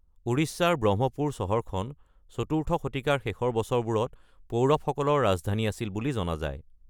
উৰিষ্যাৰ ব্ৰহ্মপুৰ চহৰখন ৪ৰ্থ শতিকাৰ শেষৰ বছৰবোৰত পৌৰৱসকলৰ ৰাজধানী আছিল বুলি জনা যায়।